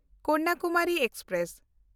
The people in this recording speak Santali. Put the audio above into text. ᱠᱚᱱᱱᱟᱠᱩᱢᱟᱨᱤ ᱮᱠᱥᱯᱨᱮᱥ